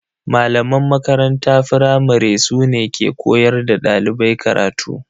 Malaman makaranta firamare su ne ke koyar da dalibai karatu.